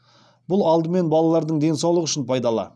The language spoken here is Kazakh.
бұл алдымен балалардың денсаулығы үшін пайдалы